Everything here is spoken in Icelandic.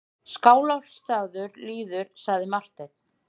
Skálholtsstaður líður, sagði Marteinn.